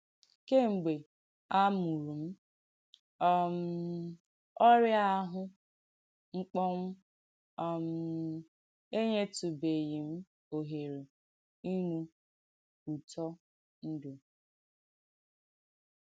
Kèm̀gbè à mùrù m̀, um ọ̀rịà áhụ́ m̀kpọ́nwụ̀ um ènyètùbèghì m̀ òhèrè ìnù ùtọ́ ǹdú.”